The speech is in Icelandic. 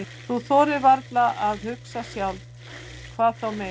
Þú þorir varla að hugsa sjálf, hvað þá meira.